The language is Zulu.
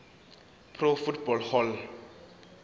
pro football hall